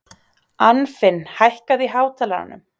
Anfinn, hækkaðu í hátalaranum.